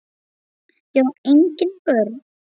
Ég á engin börn!